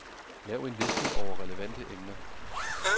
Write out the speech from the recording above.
Lav en liste over relevante emner.